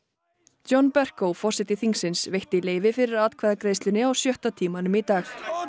John forseti þingsins veitti leyfi fyrir atkvæðagreiðslunni á sjötta tímanum í dag